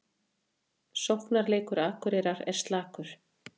Sóknarleikur Akureyrar er slakur